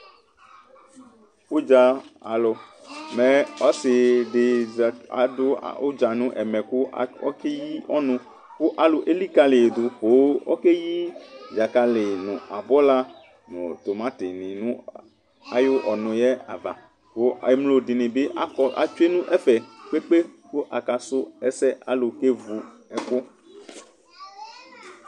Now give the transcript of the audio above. Ʋdza alʋ, mɛ ɔsiɖi zataɖʋ ʋdza nʋ ɛmɛ kʋ ɔkɛyii ɔnʋ k'alʋ elikaliyiɖʋ poo ɔkeyii dzakali nʋ abula nʋ tʋmatini nʋ ayu ɔnʋyɛ ava kʋ emloɖinibi atsue nʋ ɛfɛ kpekpekpe kʋ akasu ɛsɛ, aalʋ k'evu ɛkʋ